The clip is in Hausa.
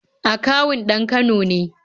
Akawun ɗan Kano ne